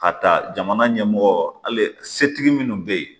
Ka taa jamana ɲɛmɔgɔ hali setigi minnu bɛ yen